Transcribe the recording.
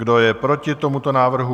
Kdo je proti tomuto návrhu?